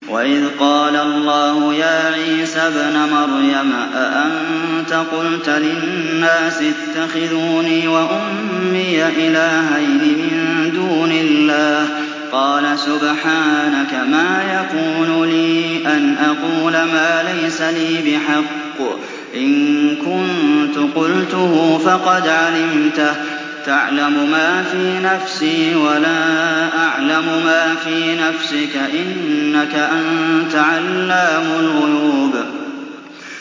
وَإِذْ قَالَ اللَّهُ يَا عِيسَى ابْنَ مَرْيَمَ أَأَنتَ قُلْتَ لِلنَّاسِ اتَّخِذُونِي وَأُمِّيَ إِلَٰهَيْنِ مِن دُونِ اللَّهِ ۖ قَالَ سُبْحَانَكَ مَا يَكُونُ لِي أَنْ أَقُولَ مَا لَيْسَ لِي بِحَقٍّ ۚ إِن كُنتُ قُلْتُهُ فَقَدْ عَلِمْتَهُ ۚ تَعْلَمُ مَا فِي نَفْسِي وَلَا أَعْلَمُ مَا فِي نَفْسِكَ ۚ إِنَّكَ أَنتَ عَلَّامُ الْغُيُوبِ